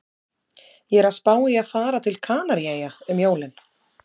Ég er að spá í að fara til Kanaríeyja um jólin